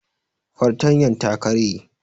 Fartanyar ta karye